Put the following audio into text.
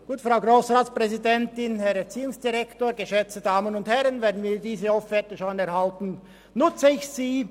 Wenn ich diese Offerte schon erhalte, dann nutze ich sie.